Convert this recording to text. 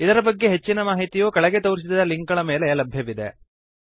ಇದರ ಬಗ್ಗೆ ಹೆಚ್ಚಿನ ಮಾಹಿತಿಯು ಕೆಳಗೆ ತೋರಿಸಿದ ಲಿಂಕ್ ಗಳ ಮೇಲೆ ಲಭ್ಯವಿದೆ